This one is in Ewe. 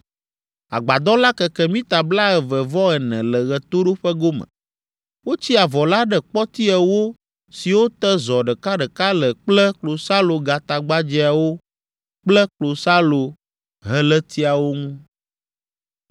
Agbadɔ la keke mita blaeve-vɔ-ene le ɣetoɖoƒe gome. Wotsi avɔ la ɖe kpɔti ewo siwo te zɔ ɖekaɖeka le kple klosalogatagbadzɛawo kple klosalohelétiawo ŋu.